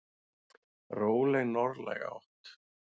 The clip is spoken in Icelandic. Róleg norðlæg átt